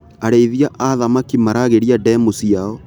Arĩithia a thamaki maragĩria ndemu ciao.